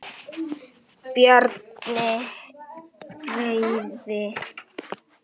Bjarni greyið!